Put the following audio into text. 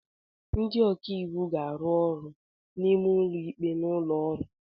Ndị ọka iwu ga-arụ ọrụ ma n'ụlọ ikpe na ụlọ ọrụ